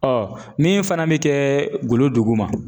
Ɔ min fana bɛ kɛ golo duguma